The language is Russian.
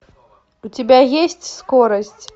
у тебя есть скорость